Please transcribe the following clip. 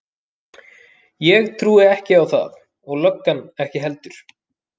Ég trúi ekki á það og löggan ekki heldur.